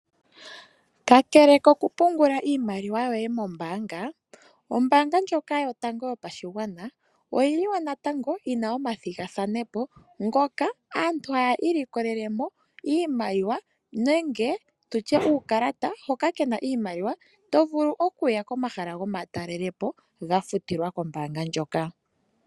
Kakele kokupungula iimaliwa yoye mombaanga, ombaanga ndjoka yotango yopashigwana oyili wo natango yina omathigathane po ngoka aantu haya ilikolele mo iimaliwa nenge tutye uukalata hoka kena iimaliwa, to vulu okuya komahala gomatalelo po ga futilwa kombaanga ndjoka.